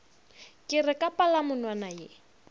ke re ka palamonwana ye